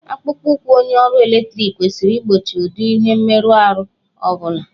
Akpụkpọụkwụ onye ọrụ eletriki kwesịrị igbochi ụdị ihe mmerụahụ ọ bụla.